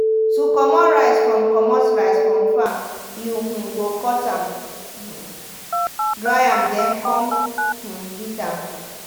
to comot rice from comot rice from farm you um go cut um am dry am then come um beat am.